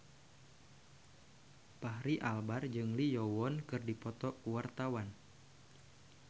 Fachri Albar jeung Lee Yo Won keur dipoto ku wartawan